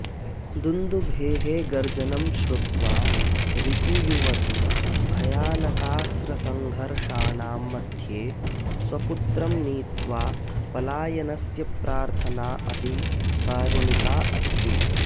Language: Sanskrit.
दुन्दुभेः गर्जनं श्रुत्वा रिपुयुवती भयानकास्त्रसङ्घर्षाणां मध्ये स्वपुत्रं नीत्वा पलायनस्य प्रार्थना अपि कारुणिका अस्ति